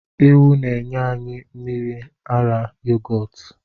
Ewu na enye anyi mmiri ara yogọtu.